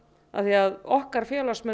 af því að okkar félagsmenn